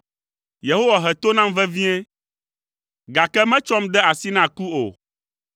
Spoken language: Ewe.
Yehowa he to nam vevie, gake metsɔm de asi na ku o.